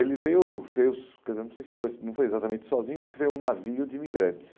Ele veio, veio, porque não sei se foi não foi exatamente sozinho, porque veio um navio de imigrantes.